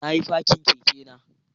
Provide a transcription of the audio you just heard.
Na yi fakin kekena